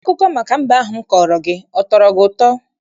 Akụkọ maka mbe ahụ m kọọrọ gị, ọ tọrọ gị ụtọ?